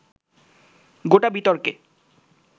গোটা বিতর্কে